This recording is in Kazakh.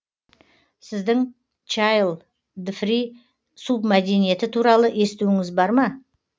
сіздің чайлдфри субмәдениеті туралы естуіңіз бар ма